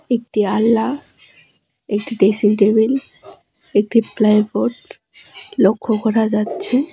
একটি আনলা একটি ডেসিং টেবিল একটি প্লাই বোড লক্ষ করা যাচ্ছে।